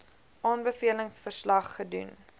aanbevelings verslag gedoen